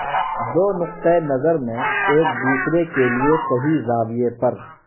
دو نقطہ نقطہ نظر میں ایک دوسرے کے لئے صحیح زاویہ پر